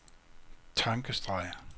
tankestreg